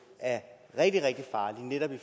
er rigtig rigtig farlige netop i